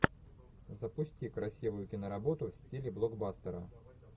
запусти красивую киноработу в стиле блокбастера